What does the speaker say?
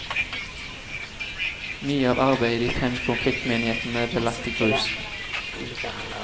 Mye av arbeidet i de fem konfliktmenighetene ble lagt i grus.